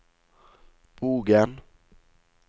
Bogen